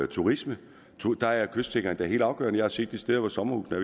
turisme der er kystsikring da helt afgørende jeg har set de steder hvor sommerhusene